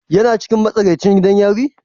Yana cikin matsakaicin gidan yari?